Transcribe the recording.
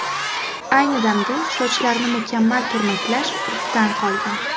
Ayni damda sochlarni mukammal turmaklash urfdan qolgan.